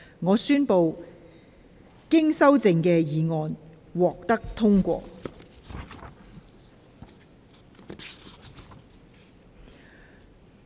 我宣布經修正的議案獲得通過。